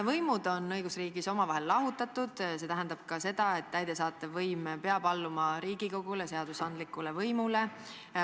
Võimud on õigusriigis omavahel lahutatud, see tähendab ka seda, et täidesaatev võim peab alluma Riigikogule, seadusandlikule võimule.